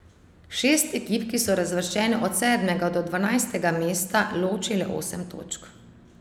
Šest ekip, ki so razvrščene od sedmega do dvanajstega mesta, loči le osem točk.